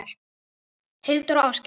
Hildur og Ásgeir.